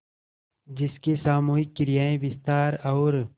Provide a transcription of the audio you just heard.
जिसकी सामूहिक क्रियाएँ विस्तार और